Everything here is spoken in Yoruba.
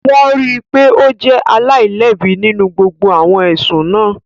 Wọ́n rí i pé ó jẹ́ aláìlẹ́bi nínú gbogbo awọn ẹsun náà